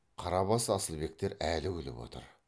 қарабас асылбектер әлі күліп отыр